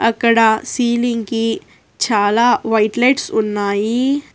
అక్కడ సీలింగ్ కి చాలా వైట్ లైట్స్ ఉన్నాయి.